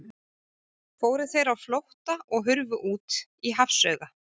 Fóru þeir á flótta og hurfu út í hafsauga.